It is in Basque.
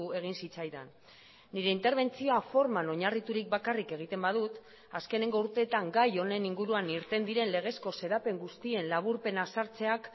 egin zitzaidan nire interbentzio forman oinarriturik bakarrik egiten badut azkeneko urteetan gai honen inguruan irten diren legezko xedapen guztien laburpena sartzeak